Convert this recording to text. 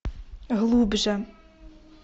глубже